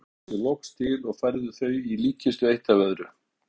Síra Sigurður tók sig loks til og færði þau í líkkistu eitt af öðru.